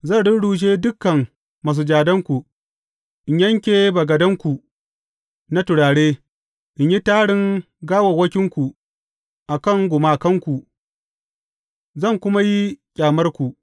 Zan rurrushe dukan masujadanku, in yanke bagadanku na turare, in yi tarin gawawwakinku a kan gumakanku, zan kuma yi ƙyamarku.